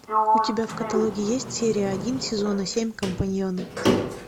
у тебя в каталоге есть серия один сезона семь компаньоны